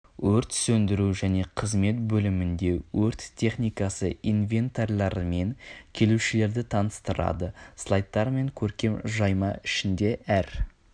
өрт сөндіру және қызмет бөлімінде өрт техникасы инвентарьларымен келушілерді таныстырады слайдтар мен көркем жайма ішінде әр